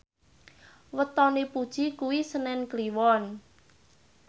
wetone Puji kuwi senen Kliwon